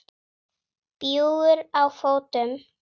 Bjúgur á fótum.